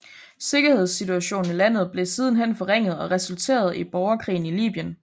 Sikkerhedssituationen i landet blev siden hen forringet og resulterede i borgerkrigen i Libyen